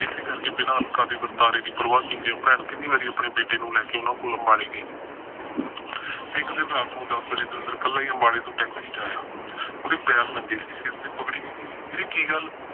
ਇਸੇ ਕਰਕੇ ਅਲਕਾ ਦੇ ਵਰਤਾਰੇ ਦੀ ਪਰਵਾਹ ਨਾ ਕੀਤੇ ਕਿੰਨੇ ਵਾਰੀ ਭੈਣ ਬੇਟੇ ਨੂੰ ਲੈ ਕੇ ਉਹਨਾਂ ਕੋਲ ਅੰਬਾਲੇ ਗਈ ਤੇ ਇੱਕ ਦਿਨ ਰਾਤ ਨੂੰ ਦਸ ਵਜੇ ਦਵਿੰਦਰ ਕੱਲਾ ਈ ਅੰਬਾਲੇ ਤੋਂ taxi ਚ ਆਇਆ। ਉਹਦੇ ਪੈਰ ਨੰਗੇ ਸੀ, ਸਿਰ ਤੇ ਪੱਗੜੀ ਵੀ ਨਈ ਸੀ, ਵੀਰੇ ਕੀ ਗੱਲ।